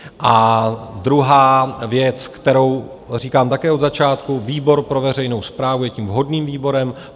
A druhá věc, kterou říkám také od začátku, výbor pro veřejnou správu je tím vhodným výborem.